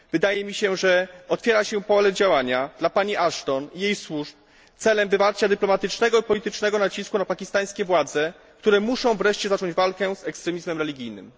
Wydaje mi się, że otwiera się pole działania dla pani Ashton i jej służb celem wywarcia dyplomatycznego i politycznego nacisku na pakistańskie władze, które muszą wreszcie zacząć walkę z ekstremizmem religijnym.